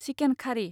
chicken खारि